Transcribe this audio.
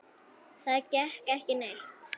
Það gekk ekki neitt.